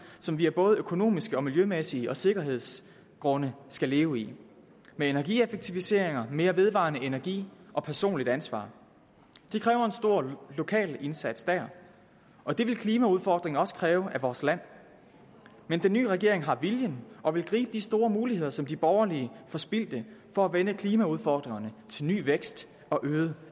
som vi af både økonomiske miljømæssige og sikkerhedmæssige grunde skal leve i med energieffektiviseringer mere vedvarende energi og personligt ansvar det kræver en stor lokal indsats der og det vil klimaudfordringen også kræve af vores land men den nye regering har viljen og vil gribe de store muligheder som de borgerlige forspildte for at vende klimaudfordringerne til ny vækst og øget